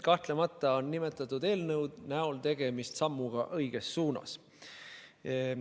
Kahtlemata on nimetatud eelnõu näol tegemist sammuga õiges suunas.